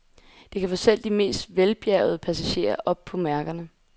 Det kan få selv de mest velbjærgede passagerer op på mærkerne.